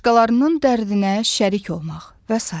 Başqalarının dərdinə şərik olmaq və sair.